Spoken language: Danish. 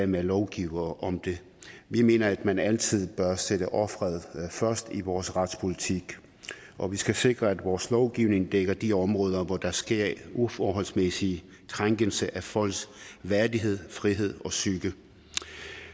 med at lovgive om det vi mener at man altid bør sætte offeret først i vores retspolitik og vi skal sikre at vores lovgivning dækker de områder hvor der sker uforholdsmæssig krænkelse af folks værdighed frihed og psyke